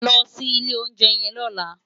Lò si ilé óunjè yèn lòlá